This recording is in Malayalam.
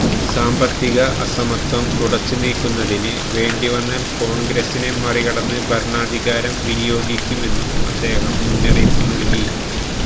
സാമ്പത്തിക അസമത്വം തുടച്ചുനീക്കുന്നതിന് വേണ്ടിവന്നാല് കോണ്ഗ്രസിനെ മറികടന്ന് ഭരണാധികാരം വിനിയോഗിക്കുമെന്നും അദ്ദേഹം മുന്നറിയിപ്പ് നല്കി